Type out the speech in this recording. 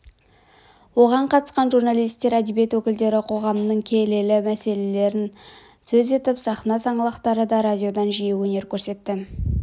оған қатысқан журналистер әдебиет өкілдері қоғамның келелі мәселелерін сөз етіп сахна саңлақтары да радиодан жиі өнер көрсетті